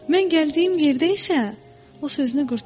Mən gəldiyim yerdə isə, o sözünü qurtarmadı.